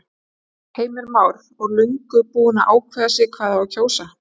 Heimir Már: Og löngu búin að ákveða sig hvað á að kjósa?